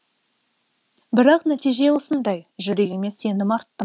бірақ нәтиже осындай жүрегіме сенім арттым